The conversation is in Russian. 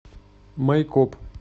майкоп